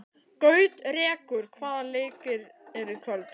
Gautrekur, hvaða leikir eru í kvöld?